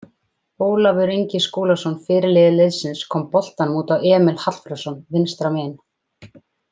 Ólafur Ingi Skúlason fyrirliði liðsins kom boltanum út á Emil Hallfreðsson vinstra megin.